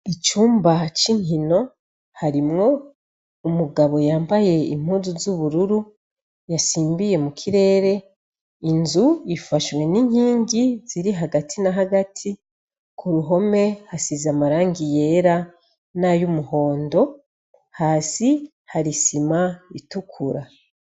Icumba c'inkino ,harimwo umugabo yambaye impuzu zubururu yasimbiye mukirere , inzu ifashwe n'inkingi ziri hagati na hagati , kuruhome hasize amarangi yera nay'umuhondo , hasi harisima itukura.